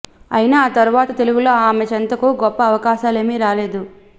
అయితే ఆ తరవాత తెలుగులో ఆమె చెంతకు గొప్ప అవకాశాలేమీ రాలేదు